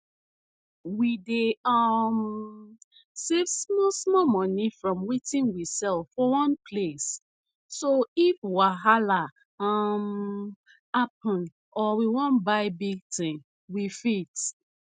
we dey um save small small money from wetin we sell for one place so if wahala um happen or we wan buy big thing we fit